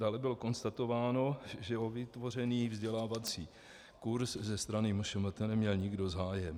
Dále bylo konstatováno, že o vytvořený vzdělávací kurs ze strany MŠMT neměl nikdo zájem.